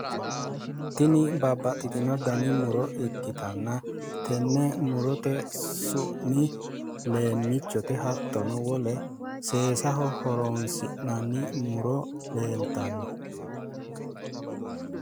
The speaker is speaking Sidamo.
Tini babbaxxitino dani muro ikkitanna tenne murote su'mi leemichote hattono wole seesaho horoonsi'nanni muro leeltanno